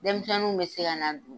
Denmisɛnninw bɛ se ka n'a dun